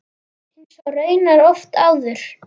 Eins og raunar oft áður.